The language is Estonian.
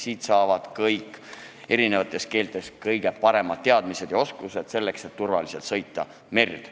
Siit saavad kõik soovijad eri keeltes kõige paremad teadmised ja oskused, selleks et turvaliselt merd sõita.